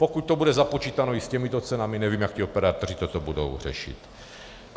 Pokud to bude započítáno i s těmito cenami, nevím, jak ti operátoři toto budou řešit.